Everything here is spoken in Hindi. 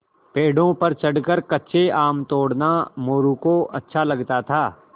पेड़ों पर चढ़कर कच्चे आम तोड़ना मोरू को अच्छा लगता था